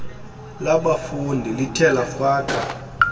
labafundi lithe lafaka